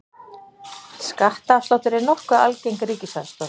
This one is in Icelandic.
Skattaafsláttur er nokkuð algeng ríkisaðstoð.